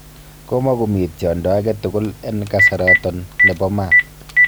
Komogomii tiondo agetugul en kasaroton nebo maat.